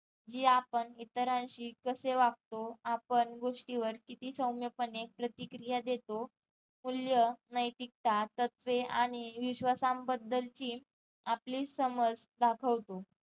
जी आपण इतरांशी कशे वागतो आपण गोष्टीवर किती सौम्य पणे प्रतिक्रिया देतो मूल्य नैतिकता तत्त्वे आणि विश्वसानबद्दलची आपली समज दाखवतो